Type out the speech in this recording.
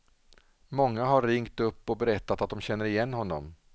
Många har ringt upp och berättat att de känner igen honom.